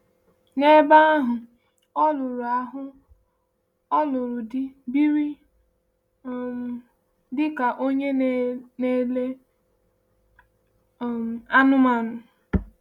N’ebe ahụ, ọ lụrụ ahụ, ọ lụrụ di, biri um dị ka onye na-ele um anụmanụ.